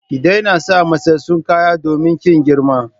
Ki daina sa matsatstsun kaya domin kin girma!